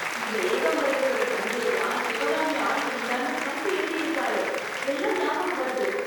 இந்த ஏகாம்பரேஸ்வரர் சன்னதிலதான் சிவகாமி ஆடிட்டு இருந்தான்னு கல்கி எழுதிருப்பாரே, அதெல்லாம் ஞாபகம் வருது!